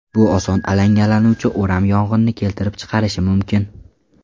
Bu oson alangalanuvchi o‘ram yong‘inni keltirib chiqarishi mumkin.